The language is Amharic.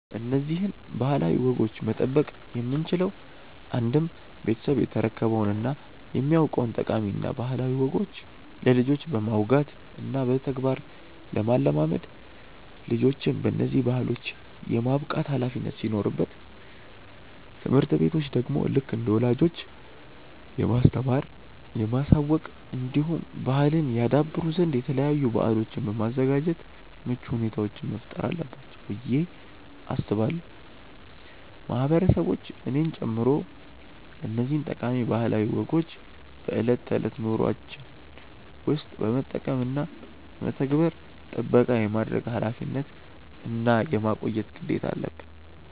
እነዚህን ባህላዊ ወጎች መጠበቅ የምንችለው አንድም ቤተሰብ የተረከበውን እና የሚያውቀውን ጠቃሚ እና ባህላዊ ወጎች ለልጆች በማውጋት እና በተግባር ለማለማመድ ልጆችን በነዚህ ባህሎች የማብቃት ኃላፊነት ሲኖርበት ትምህርት ቤቶች ደግሞ ልክ እንደ ወላጆች የማስተማር፣ የማሳወቅ እንዲሁም ባህልን ያደብሩ ዘንድ የተለያዩ በአሎችን በማዘጋጃት ምቹ ሁኔታዎችን መፍጠር አለባቸው ብዬ አስባለው። ማህበረሰቦች እኔን ጨምሮ እነዚህን ጠቃሚ ባህላዊ ወጎችን በእለት ተእለት ኑሮዎችን ውስጥ በመጠቀም እና በመተግበር ጥበቃ የማድረግ ኃላፊነት እና የማቆየት ግዴታ አለበን።